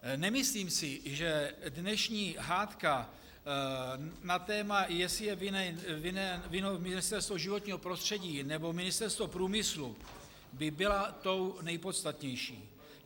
Nemyslím si, že dnešní hádka na téma, jestli je vinno Ministerstvo životního prostředí, nebo Ministerstvo průmyslu, by byla tou nejpodstatnější.